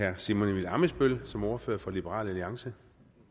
herre simon emil ammitzbøll som ordfører for liberal alliance